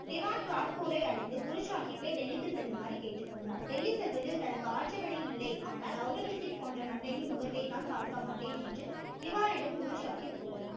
திவான் காத்பூரை அடைந்து குரு சாகிப்பை டெல்லிக்கு செல்லுமாறு கேட்டு கொண்டார் டெல்லி செல்வதில் தனக்கு ஆட்சேபனை இல்லை ஆனால் ஔரங்கசீப் போன்ற மன்னனின் முகத்தை தான் பார்க்க மாட்டேன் என்று திவான் இடம் குரு சாகிப் கூறினார்